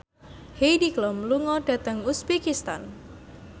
Heidi Klum lunga dhateng uzbekistan